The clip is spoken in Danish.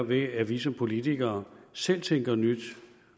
ved at vi som politikere selv tænker nyt